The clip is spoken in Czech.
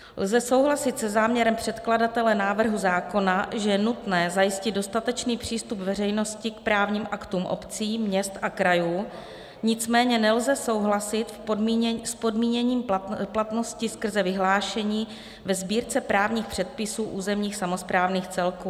Lze souhlasit se záměrem předkladatele návrhu zákona, že je nutné zajistit dostatečný přístup veřejnosti k právním aktům obcí, měst a krajů, nicméně nelze souhlasit s podmíněním platnosti skrze vyhlášení ve Sbírce právních předpisů územních samosprávných celků.